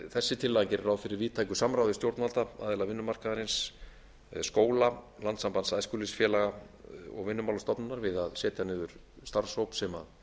þessi tillaga gerir ráð fyrir víðtæku samráði stjórnvalda aðila vinnumarkaðarins skóla landssambands æskulýðsfélaga og vinnumálastofnunar við að setja niður starfshóp sem